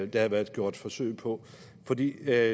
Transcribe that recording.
der har været gjort forsøg på for det